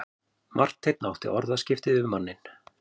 Marteinn átti orðaskipti við manninn.